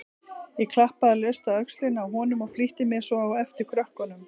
Ég klappaði laust á öxlina á honum og flýtti mér svo á eftir krökkunum.